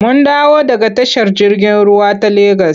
Mun dawo daga tashar jirgin ruwa ta Legas.